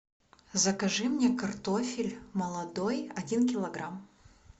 закажи мне картофель молодой один килограмм